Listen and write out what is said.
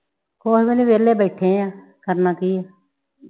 ਕੁਝ ਨਹੀਂ ਵਿਹਲੇ ਬੈਠੇ ਆ ਕਰਨਾ ਕੀ